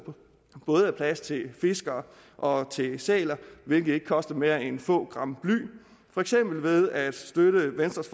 både er plads til fiskere og til sæler hvilket ikke koster mere end få gram bly for eksempel ved at støtte venstres